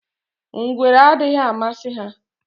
Ngwere adịghị amasị ha